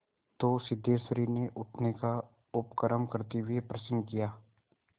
तो सिद्धेश्वरी ने उठने का उपक्रम करते हुए प्रश्न किया